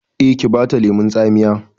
Eh, ki bata lemon tsamiya